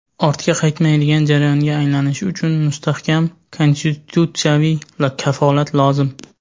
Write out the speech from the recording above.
ortga qaytmaydigan jarayonga aylanishi uchun mustahkam konstitutsiyaviy kafolat lozim.